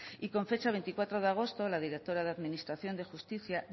y con fecha veinticuatro de agosto la directora de administración de justicia